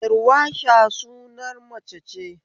Darweesha sunan mace ce